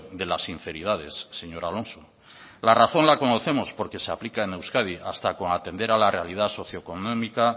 de las sinceridades señor alonso la razón la conocemos porque se aplica en euskadi hasta con atender a la realidad socioeconómica